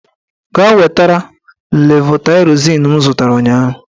Gaa wetara levotaịrozin m zụtara ụnyaahụ!